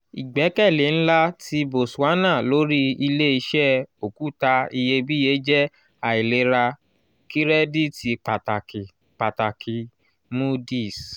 igbẹkẹle nla ti botswana lori ile-iṣẹ okuta iyebiye jẹ ailera kirẹditi pataki - pataki - moody's